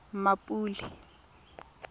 mmapule